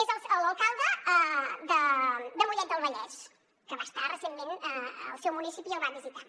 és l’alcalde de mollet del vallès que va estar recentment al seu municipi i el va visitar